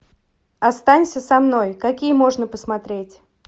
останься со мной какие можно посмотреть